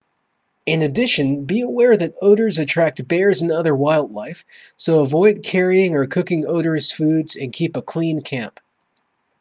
in addition be aware that odors attract bears and other wildlife so avoid carrying or cooking odorous foods and keep a clean camp